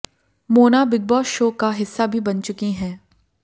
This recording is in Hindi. मोना बिग बॉस शो का हिस्सा भी बन चुकी हैं